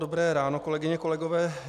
Dobré ráno, kolegyně, kolegové.